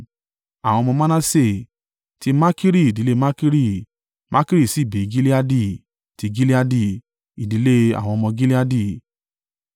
Àwọn ọmọ Manase: ti Makiri, ìdílé Makiri (Makiri sì bí Gileadi); ti Gileadi, ìdílé àwọn ọmọ Gileadi.